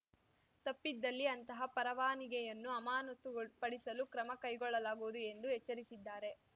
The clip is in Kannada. ತಪ್ಪಿದಲ್ಲಿ ಅಂತಹ ಪರವಾನಿಗೆಯನ್ನು ಅಮಾನತುಗೊಳ್ ಪಡಿಸಲು ಕ್ರಮ ಕೈಗೊಳ್ಳಲಾಗುವುದು ಎಂದು ಎಚ್ಚರಿಸಿದ್ದಾರೆ